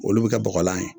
Olu bɛ kɛ bɔgɔlan ye